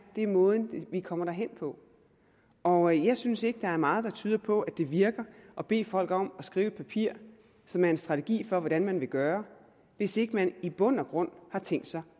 er måden vi kommer derhen på og jeg synes ikke der er meget der tyder på at det virker at bede folk om at skrive et papir som er en strategi for hvordan man vil gøre hvis ikke man i bund og grund har tænkt sig